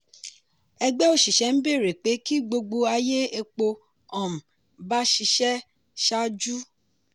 ẹgbẹ́ òṣìṣẹ́ ń bẹ̀rẹ̀ pé ki gbogbo ayé epo um bá ṣiṣẹ́ ṣáájú.